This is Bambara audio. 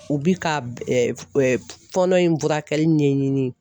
U bi ka fɔɔnɔ in furakɛli ɲɛɲini.